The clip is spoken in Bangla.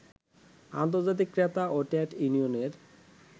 আন্তর্জাতিক ক্রেতা ও ট্রেড ইউনিয়নের